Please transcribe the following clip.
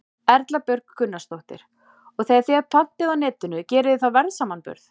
Erla Björg Gunnarsdóttir: Og þegar þið pantið á Netinu, gerið þið þá verðsamanburð?